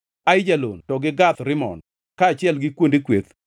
Aijalon to gi Gath Rimon, kaachiel gi kuonde kweth.